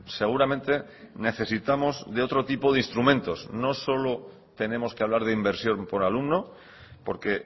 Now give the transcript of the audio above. seguramente necesitamos de otro tipo de instrumentos no solo tenemos que hablar de inversión por alumno porque